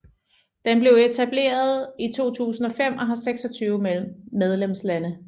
Den blev etableret i 2005 og har 26 medlemslande